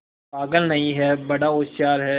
पागल नहीं हैं बड़ा होशियार है